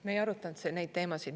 Me ei arutanud neid teemasid.